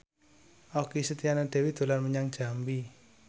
Okky Setiana Dewi dolan menyang Jambi